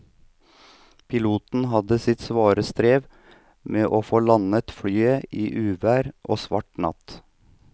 Piloten hadde sitt svare strev med å få landet flyet i uvær og svart natt.